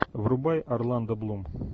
врубай орландо блум